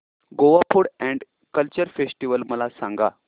Goa food and culture festival मला सांगा